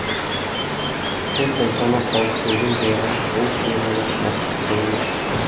бұл соншама қауіптенген жайға ол шынымен ақ бас тіккені ме